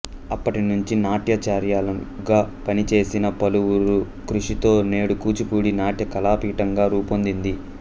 అప్పటి నుంచి నాట్యాచార్యులుగా పనిచేసిన పలువురు కృషితో నేడు కూచిపూడి నాట్య కళాపీఠంగా రూపొందింది